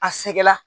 A sɛgɛnna